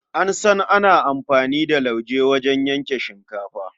An san ana amfani da lauje wajen yanke shinkafa.